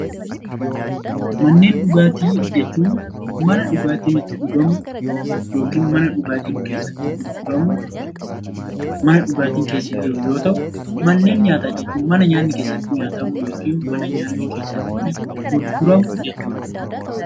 Manneen dhugaatii jechuun mana dhugaatiin itti dhugamu yoo ta'u mana dhugaatiin keessatti gurguramu mana dhugaatiin keessa jiru yoo ta'u, mana nyaataa jechuun mana nyaanni keessatti nyaatamu yookiin mana nyaanni keessatti gurguramu jechuudha